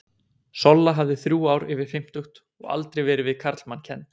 Solla hafði þrjú ár yfir fimmtugt og aldrei verið við karlmann kennd.